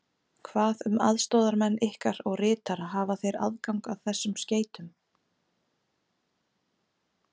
Hvað um aðstoðarmenn ykkar og ritara hafa þeir aðgang að þessum skeytum?